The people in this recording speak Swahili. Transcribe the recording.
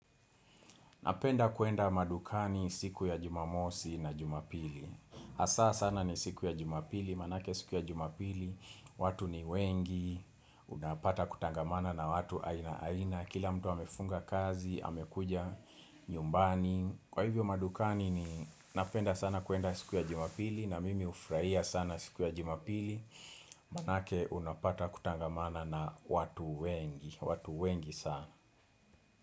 Napenda kuenda madukani siku ya jumamosi na jumapili hasa sana ni siku ya jumapili, maanake siku ya jumapili watu ni wengi, unapata kutangamana na watu aina aina kila mtu amefunga kazi, amekuja nyumbani kwa hivyo madukani ni napenda sana kuenda siku ya jumapili na mimi hufurahia sana siku ya jumapili Maanake unapata kutangamana na watu wengi, watu wengi sana.